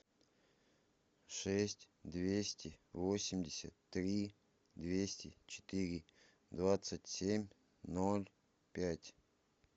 шесть двести восемьдесят три двести четыре двадцать семь ноль пять